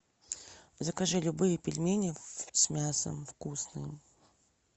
закажи любые пельмени с мясом вкусные